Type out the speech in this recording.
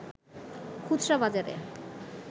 খুচরা বাজারে